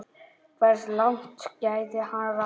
Hversu langt gæti hann náð?